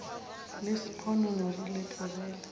le sponono re le tlogele